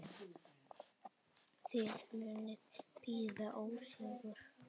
Þið munuð bíða ósigur.